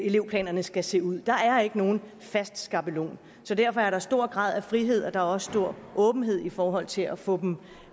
elevplanerne skal se ud der er ikke nogen fast skabelon så derfor er der stor grad af frihed og der er også stor åbenhed i forhold til at få dem